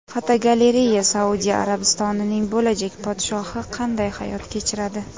Fotogalereya: Saudiya Arabistonining bo‘lajak podshohi qanday hayot kechiradi?.